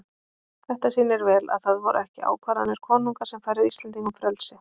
Þetta sýnir vel að það voru ekki ákvarðanir konunga sem færðu Íslendingum frelsi.